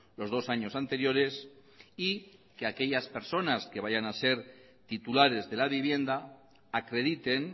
los dos años anteriores y que aquellas personas que vayan a ser titulares de la vivienda acrediten